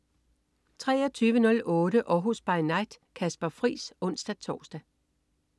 23.08 Århus By Night. Kasper Friis (ons-tors)